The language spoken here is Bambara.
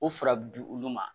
O furabulu olu ma